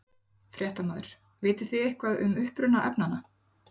Fréttamaður: Vitið þið eitthvað um uppruna efnanna?